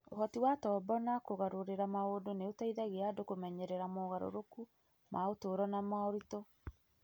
Ũhoti wa tombo wa kũgarũrĩra maũndũ nĩ ũteithagia andũ kũmenyerera mogarũrũku ma ũtũũro na moritũ.